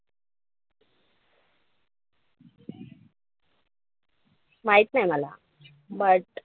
माहित नाई मला but,